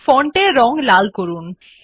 font এর রং লাল করুন